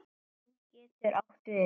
Gefjun getur átt við